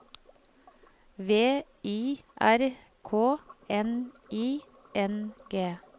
V I R K N I N G